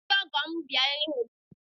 Ndị ọgọ m bịara ịhụ m